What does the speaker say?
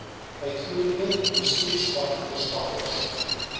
uitvoerende bestuurspan verskaffers